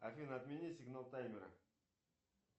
афина отмени сигнал таймера